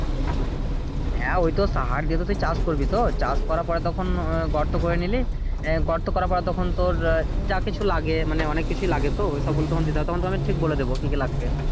হ্যাঁ ওইতো সাহার দিয়ে তুইতো চাষ করবি তো চাষ করার পরে তখন গর্ত করে নিলি আহ গর্ত করার পর তখন তোর যা কিছু লাগে মানে অনেককিছুই লাগে তো এইসব গুলো তখন দিতে হবে তখন আমি ঠিক বলে দেব কি কি লাগবে।